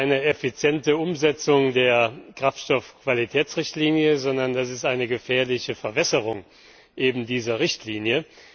Das ist keine effiziente Umsetzung der Kraftstoffqualitäts Richtlinie, sondern das ist eine gefährliche Verwässerung eben dieser Richtlinie.